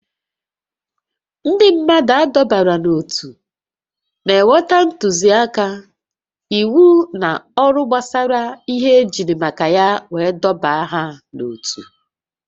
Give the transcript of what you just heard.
Ndị mmadụ adọbara n'ótú na-enweta ntụzịaka, íwú na ọrụ gbasara ihe ejiri maka ya wee dọbaa ha n'otu